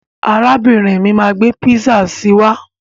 Arábìrin mi máa gbé písà si wá.